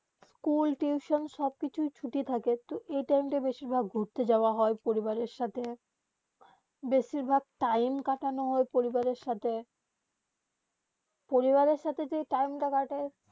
school tuition সব কিছু ছুটি থাকে তো এই টাইম বেশি ভায়াক ঘুরতে যাওবা হয়ে পরিবার সাথে বেশি ভায়াক টাইম কাটানো হয়ে পরিবার সাথে পরিবারে সাথে যে টাইম তা কাটে